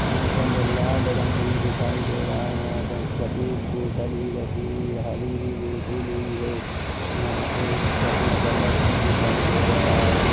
यहाँ पर लाल रंग भी दिखाई दे रहा है यहाँ पर सफेद बॉटल भी रखी हुई हरे बॉटल भी है यहाँ पर सफेद बल्ब भी दिखाई दे रहा हैं।